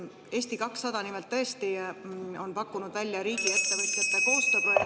Eesti 200 nimelt tõesti on pakkunud välja riigiettevõtjate koostööprojekti …